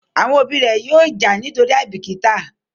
Àwọn òbí ré yóò já nítorí àìbìkítà